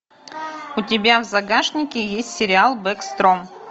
у тебя в загашнике есть сериал бэкстром